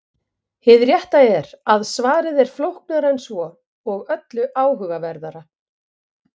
Hið rétta er að svarið er flóknara en svo og öllu áhugaverðara.